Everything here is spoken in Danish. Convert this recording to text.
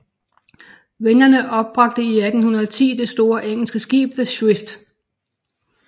Vennerne opbragte i 1810 det store engelske skib The Swift